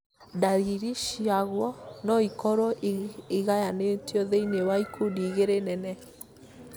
ndariri ciaguo no ikorwo igayanĩtio thĩiniĩ wa ikundi igĩrĩ nene